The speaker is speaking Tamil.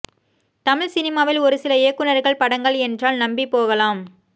தமிழ் சினிமாவில் ஒரு சில இயக்குனர்கள் படங்கள் என்றால் நம்பி போகலாம்